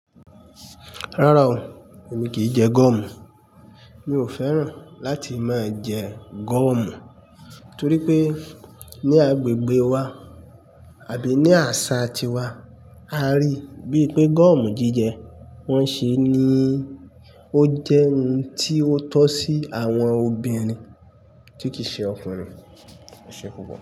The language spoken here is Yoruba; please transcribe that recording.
Rárá o, èmi kì í jẹ gọ́ọ̀mù. Mi ò fẹ́ràn láti máa jẹ gọ́ọ̀mù torí pé ní agbègbè wa àbí ní àṣà ti wa, a rí bí pé gọ́ọ̀mù jíjẹ wọn ṣe ni ó jẹ́ ohun tí ó tọ́ sí àwọn obìnrin tí kì í ṣe ọkùnrin. Ese pupo.